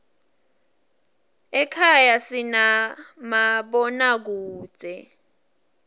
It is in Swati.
ekhaya sinamabonakudze